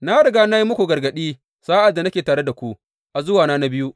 Na riga na yi muku gargaɗi sa’ad da nake tare da ku a zuwana na biyu.